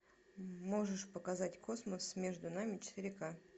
можешь показать космос между нами четыре к